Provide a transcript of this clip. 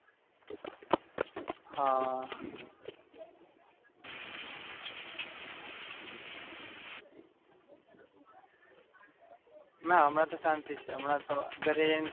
ના પંદર-વીસ મિનિટ માં તો પોહચી જવાય.